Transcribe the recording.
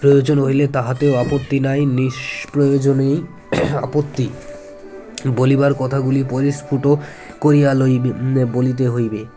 প্রয়োজন হইলে তাহাতেও আপত্তি নাই নিঃস্প্রয়োজনেই আপত্তি বলিবার কথাগুলি পরিস্ফুট করিয়া লইবে আ বলিতে হইবে